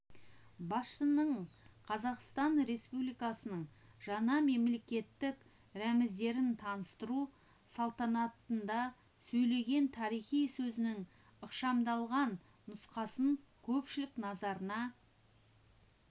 басшының қазақстан республикасының жаңа мемлекеттік рәміздерін таныстыру салтанатында сөйлеген тарихи сөзінің ықшамдалған нұсқасын көпшілік назарына